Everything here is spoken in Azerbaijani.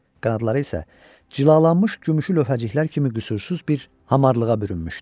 Qanadları isə cilalanmış gümüşü lövhəciklər kimi qüsursuz bir hamarlığa bürünmüşdü.